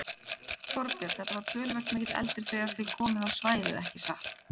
Þorbjörn: Þetta var töluvert mikill eldur þegar þið komuð á svæðið ekki satt?